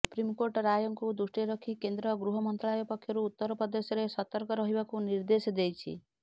ସୁପ୍ରିମକୋର୍ଟଙ୍କ ରାୟକୁ ଦୃଷ୍ଟିରେ ରଖି କେନ୍ଦ୍ର ଗୃହ ମନ୍ତ୍ରାଳୟ ପକ୍ଷରୁ ଉତ୍ତରପ୍ରଦେଶରେ ସତର୍କ ରହିବାକୁ ନିର୍ଦ୍ଦେଶ ଦେଇଛି